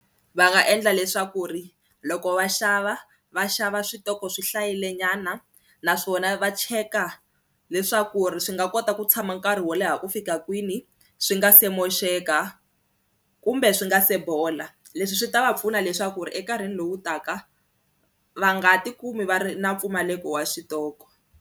Va nga endla leswaku ri loko va xava va xava switoko swi hlayilenyana naswona va cheka leswaku ri swi nga kota ku tshama nkarhi wo leha ku fika kwini swi nga se moxeka kumbe swi nga se bola, leswi swi ta va pfuna leswaku ri enkarhini lowu taka va nga tikumi va ri na mpfumaleko wa xitoko.